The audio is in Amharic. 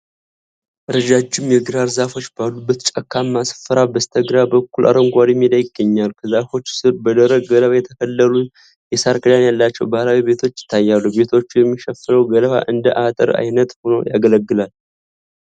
ረጃጅም የግራር ዛፎች ባሉበት ጫካማ ስፍራ፣ በስተግራ በኩል አረንጓዴ ሜዳ ይገኛል። ከዛፎቹ ሥር በደረቅ ገለባ የተከለሉና የሳር ክዳን ያላቸው ባህላዊ ቤቶች ይታያሉ። ቤቶቹን የሚሸፍነው ገለባ እንደ አጥር ዓይነት ሆኖ ያገለግላል።